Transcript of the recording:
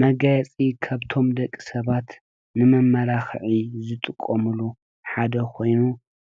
መጋየፂ ካብቶም ደቂ ሰባት ንመማላክዒ ዝጥቀምሉ ሓደ ኮይኑ